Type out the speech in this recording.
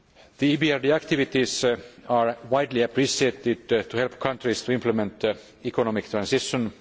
The EBRD activities are widely appreciated to help countries to implement economic transition.